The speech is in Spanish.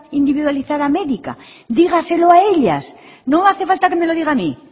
individualizada médica dígaselo a ellas no hace falta que me lo diga a mí